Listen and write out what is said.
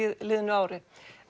liðnu ári